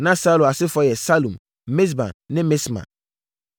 Na Saulo asefoɔ yɛ Salum, Mibsam ne Misma.